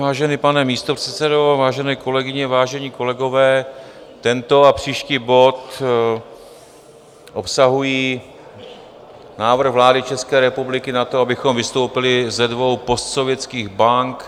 Vážený pane místopředsedo, vážené kolegyně, vážení kolegové, tento a příští bod obsahují návrh vlády České republiky na to, abychom vystoupili ze dvou postsovětských bank.